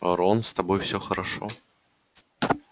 рон с тобой всё хорошо